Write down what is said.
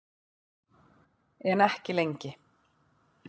En ekki lengi.